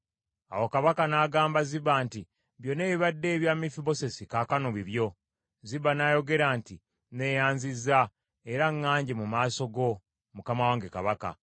Awo kabaka n’agamba Ziba nti, “Byonna ebibadde ebya Mefibosesi, kaakano bibyo.” Ziba n’ayogera nti, “Neeyanzizza, era ŋŋanje mu maaso go, mukama wange kabaka.”